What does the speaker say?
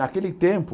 Naquele tempo,